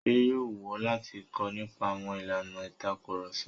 Ṣé yóò wù ọ́ láti kọ́ nípa àwọn ìlànà ìtakurọ̀sọ?